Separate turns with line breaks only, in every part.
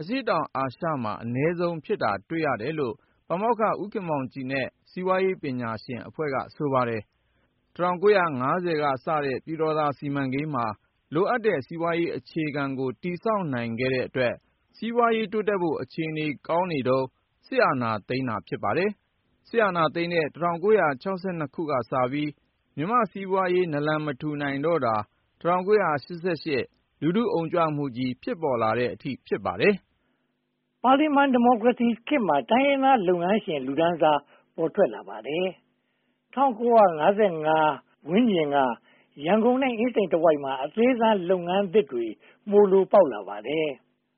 အရှေ့တောင်အာရှမှာ အနည်းဆုံး ဖြစ်နေတာ တွေ့ရတယ်လို့ ပါမောက္ခ ဦးခင်မောင်ကြည်နဲ့ စီးပွားရေးပညာရှင်အဖွဲ့က ဆိုပါတယ်။ ၁၉၅၀ ကစတဲ့ ပြည်တော်သာစီမံကိန်းမှာ လိုအပ်တဲ့ စီးပွားရေးအခြေခံကို တည်ဆောက်နိုင်တဲ့အတွက် စီးပွားရေးတိုးတက်ဖို့ အခြေအနေကောင်းနေတုန်း စစ်အာဏာသိမ်းတာ ဖြစ်ပါတယ်။ စစ်အာဏာသိမ်းတဲ့ ၁၉၆၂ ကစပြီး မြန်မာစီးပွားရေး နာလန်မထူနိုင်တော့တာ ၁၉၈၈ လူထုအုံကြွမှုကြီး ဖြစ်ပေါ်လာတဲ့အထိပါပဲ။ ပါလီမန်ဒီမို
ကရေစီခေတ်မှာ တိုင်းရင်းသားလုပ်ငန်းရှင် လူတန်းစား ပေါ်ထွက်လာပါတယ်။ ၁၉၅၀ ဝန်းကျင်က ရန်ကုန်နဲ့ အင်းစိန်တဝိုက်မှာ အသေးစားလုပ်ငန်းသစ်တွေ မှိုလိုပေါက်လာပါတယ်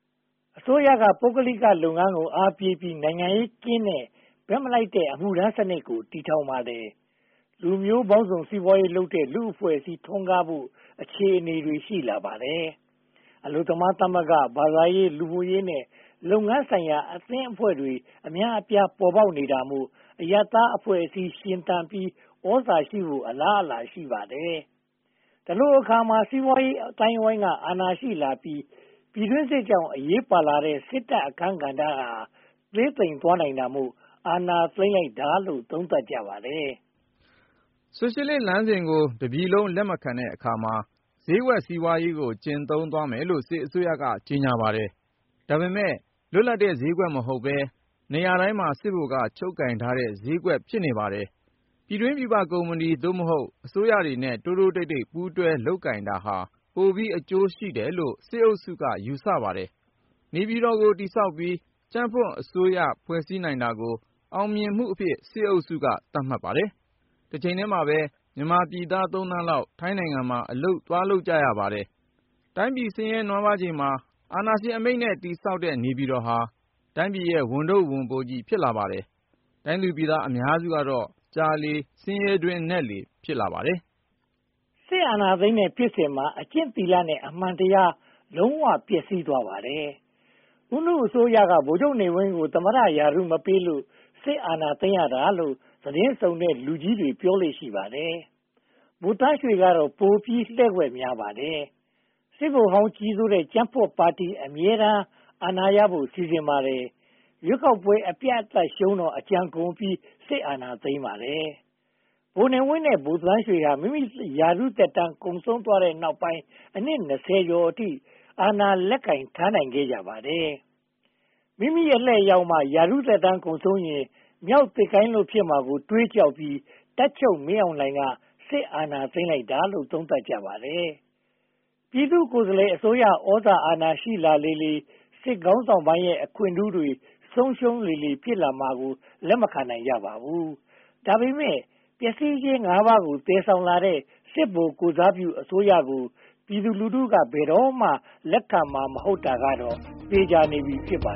။ အစိုးရက ပုဂ္ဂလိကလုပ်ငန်းကို အားပေးပြီး နိုင်ငံရေးကင်းတဲ့ ဘက်မလိုက်တဲ့ အမှုထမ်းစနစ်ကို တည်ထောင်ပါတယ်။ လူမျိုးပေါင်းစုံ စီးပွားရေးလုပ်တဲ့ လူ့အဖွဲ့အစည်း ထွန်းကားဖို့ အခြေအနေတွေ ရှိလာပါတယ်။ အလုပ်သမားသမဂ္ဂ၊ ဘာသာရေး၊ လူမှုရေးနဲ့ လုပ်ငန်းဆိုင်ရာ အသင်းအဖွဲ့တွေ အများအပြား ပေါ်ပေါက်နေတာမို့ အရပ်သားအဖွဲ့အစည်း ရှင်သန်ပြီး သြဇာရှိလာဖို့ အလားအလာ ရှိပါတယ်။ ဒီလိုအခါမှာ စီးပွားရေးအသိုင်းအဝိုင်းက အာဏာရှိလာပြီး ပြည်တွင်းစစ်ကြောင့် အရေးပါလာတဲ့ စစ်တပ်အခန်းကဏ္ဍဟာ သေးသိမ်သွားနိုင်တာမို့ အာဏာသိမ်းလိုက်တာလို့ သုံးသပ်ကြပါတယ်
။ ဆိုရှယ်လစ်လမ်းစဉ်ကို တပြည်လုံးက လက်မခံတဲ့အခါမှာ ဈေးကွက်စီးပွားရေးကို ကျင့်သုံးမယ်လို့ စစ်အစိုးရက ကြေညာပါတယ်။ ဒါပေမဲ့ လွတ်လပ်တဲ့ ဈေးကွက်မဟုတ်ဘဲ နေရာတိုင်းစစ်ဗိုလ်က ချုပ်ကိုင်ထားတဲ့ ဈေးကွက် ဖြစ်နေပါတယ်။ ပြည်တွင်းပြည်ပ ကုမ္ပဏီ အစိုးရတွေနဲ့ တိုးတိုးတိတ်တိတ် ပူးတွဲလုပ်ကိုင်တာဟာ ပိုပြီးအကျိုးရှိတယ်လို့ စစ်အုပ်စုက ယူဆပါတယ်။ နေပြည်တော် တည်ဆောက်ပြီး ကြံ့ဖွံ့အစိုးရ ဖွဲ့စည်းနိုင်တာကို အောင်မြင်မှုအဖြစ် စစ်အုပ်စုက သတ်မှတ်ပါတယ်။ တချိန်တည်းမှာပဲ မြန်မာပြည်သား သုံးသန်းလောက် ထိုင်းနိုင်ငံမှာ အလုပ်လုပ်နေကြပါတယ်။ တိုင်းပြည်ဆင်းရဲနွမ်းပါးချိန်မှာ အာဏာရှင်အမိန့််နဲ့ တည်ဆောက်တဲ့ နေပြည်တော်ဟာ တိုင်းပြည်ရဲ့ ဝန်ထုပ်ဝန်ပိုး ဖြစ်လာပါတယ်။ တိုင်းသူပြည်သား အများစုကတော့ ကြာလေဆင်းရဲတွင်းနက်လေ ဖြစ်နေပါတယ်။
စစ်အာဏာသိမ်းတဲ့ဖြစ်စဉ်မှာ အကျင့်သီလနဲ့ အမှန်တရား လုံးဝပျက်စီးသွားပါတယ်။ ဦးနုအစိုးရက ဗိုလ်ချုပ်နေဝင်းကို သမ္မတရာထူး မပေးလို့ စစ်အာဏာသိမ်းရတာလို့ သတင်းစုံတဲ့ လူကြီးတွေပြောလေ့ ရှိပါတယ်။ ဗိုလ်သန်းရွှေကတော့ ပိုပြီးလှည့်ကွက်များပါတယ်။ စစ်ဗိုလ်ဟောင်းကြီးစိုးတဲ့ ကြံ့ဖွံ့ပါတီ အမြဲတမ်း အာဏာရဖို့ စီစဉ်ပါတယ်။ ရွေးကောက်ပွဲ အပြတ်အသတ်ရှုံးတော့ အကြံကုန်ပြီး စစ်အာဏာသိမ်းပါတယ်။ ဗိုလ်နေဝင်းနဲ့ ဗိုလ်သန်းရွှေဟာ မိမိရာထူးသက်တမ်း ကုန်ဆုံးသွားတဲ့နောက်ပိုင်း အနှစ် ကျော်အထိ အာဏာ လက်ကိုင်ထားနိုင်ခဲ့ကြပါတယ်။ မိမိအလှည့်ရောက်မှ ရာထူးသက်တမ်းကုန်ရင် မျောက်သစ်ကိုင်းလွတ် ဖြစ်ရမှာကို တွေးကြောက်ပြီး တပ်ချုပ်မင်းအောင်လှိုင်က စစ်အာဏာသိမ်းတာလို့ သုံးသပ်ကြပါတယ်။ ပြည်သူကိုယ်စားလှယ်အစိုးရ သြဇာအာဏာရှိလာလေလေ စစ်ခေါင်းဆောင်ပိုင်းရဲ့ အခွင့်ထူးတွေ ဆုံးရှုံးလေလေ ဖြစ်လာမှာကို လက်မခံနိုင်ကြပါဘူး။ ဒါပေမဲ့ ပျက်စီးခြင်း ပါးကို သယ်ဆောင်လာတဲ့ စစ်ဗိုလ်ကိုယ်စားပြုအစိုးရကို ပြည်သူလူထုက ဘယ်တော့မှ လက်ခံမှာ မဟုတ်တာကတော့ သေချာနေပြီ ဖြစ်ပါ